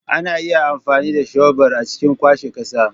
Ana iya amfani da shebur a cikin kwashe ƙasa.